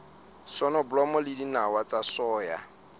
soneblomo le dinawa tsa soya